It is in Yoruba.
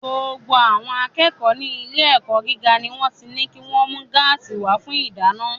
Gbogbo àwọn akẹ́kọ̀ọ́ ní ilé-ẹ̀kọ́ gíga ni wọ́n ti ní kí wọ́n mú gáàsì wá fún ìdáná.